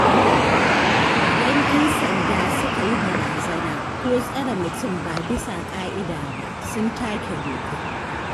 Idan ‘yan sanda suka yi barazana, ko tsare mutum ba bisa ƙa'ida ba, sun take doka.